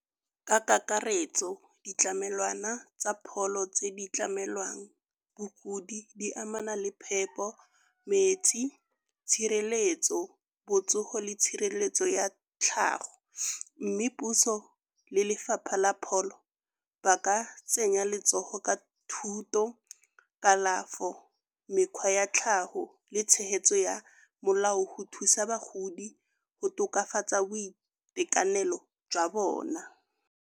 Ka kakaretso ditlamelwana tsa pholo tse di tlamelwang bogodi di amana le phepo, metsi, tshireletso, botsogo le tshireletso ya tlhago. Mme puso le Lefapha la Pholo ba ka tsenya letsogo ka thuto, kalafo, mekgwa ya tlhago le tshegetso ya molao go thusa bagodi go tokafatsa boitekanelo jwa bona.